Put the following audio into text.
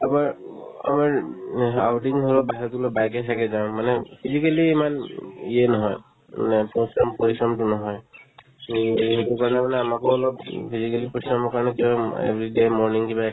আগৰ উম আমাৰ উম হে outing ধৰক বাহিৰত অলপ bike য়ে চাইকে যাওঁ মানে physically ইমান উম ইয়ে নহয় মানে পৰিশ্ৰম পৰিশ্ৰমতো নহয় এই সেইটো কাৰণে মানে আমাকো অলপ উম physically পৰিশ্ৰমৰ কাৰণে কি হয় every morning কিবা